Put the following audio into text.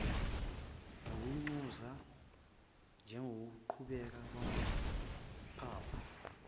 nokutshuza njengokubaqaka kwamaphaphu